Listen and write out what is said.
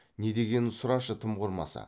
не дегенін сұрашы тым құрмаса